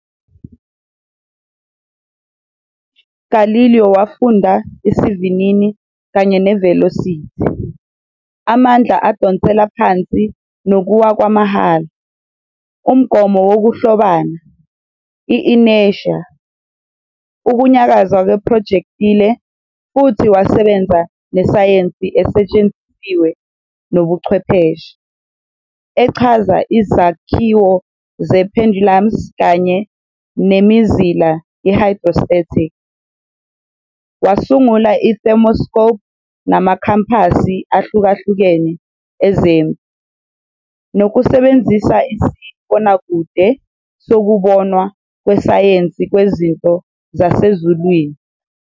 Galileo wafunda isivinini kanye ne- velocity, amandla adonsela phansi nokuwa kwamahhala, umgomo wokuhlobana, i- inertia, ukunyakaza kwe-projectile futhi wasebenza nesayensi esetshenzisiwe nobuchwepheshe, echaza izakhiwo ze- pendulums kanye "nemizila ye-hydrostatic", wasungula i- thermoscope namakhampasi ahlukahlukene ezempi, nokusebenzisa isibonakude sokubonwa kwesayensi kwezinto zasezulwini.